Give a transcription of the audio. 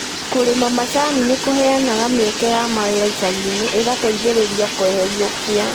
Kũrĩma macani nĩ kũheanaga mĩeke ya mawĩra icagi-inĩ ĩgateithĩrĩria kweheria ũkia